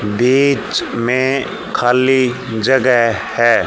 बीच में खाली जगह है।